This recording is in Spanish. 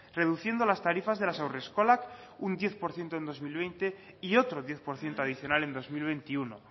reduciendo las tarifas de las haurreskolak un diez por ciento en dos mil veinte y otro diez por ciento adicional en dos mil veintiuno